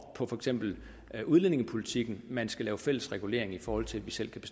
på for eksempel udlændingepolitikken man skal lave fælles regulering i forhold til at vi selv